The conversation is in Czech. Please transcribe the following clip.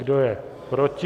Kdo je proti?